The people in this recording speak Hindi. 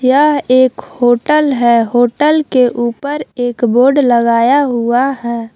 यह एक होटल है होटल के ऊपर एक बोर्ड लगाया हुआ है।